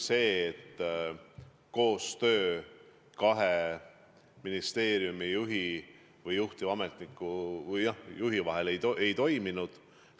Koostöö ministeeriumi juhi ja juhtiva ametniku vahel ei toiminud.